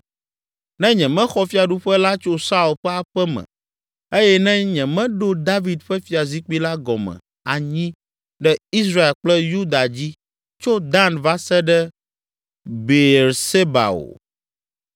ne nyemexɔ fiaɖuƒe la tso Saul ƒe aƒe me eye ne nyemeɖo David ƒe fiazikpui la gɔme anyi ɖe Israel kple Yuda dzi, tso Dan va se ɖe Beerseba o.”